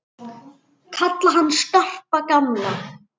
Kalla hann Skarpa og gamla!